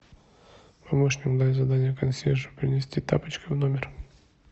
помощник дай задание консьержу принести тапочки в номер